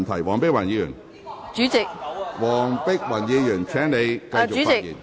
黃碧雲議員，請你繼續發言。